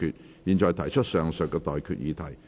我現在向各位提出上述待決議題。